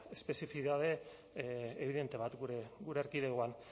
espezifidade evidente bat gure erkidegoan